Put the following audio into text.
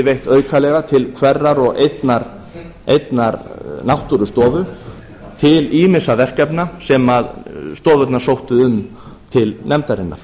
veitt aukalega til hverrar og einnar náttúrustofu til ýmissa verkefna sem stofnunar sóttu um til nefndarinnar